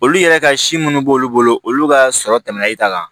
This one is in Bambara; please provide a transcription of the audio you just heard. Olu yɛrɛ ka si munnu b'olu bolo olu ka sɔrɔ tɛmɛna e ta kan